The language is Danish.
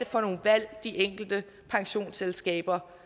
for nogle valg de enkelte pensionsselskaber